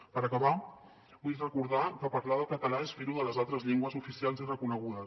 per acabar vull recordar que parlar del català és fer ho de les altres llengües oficials i reconegudes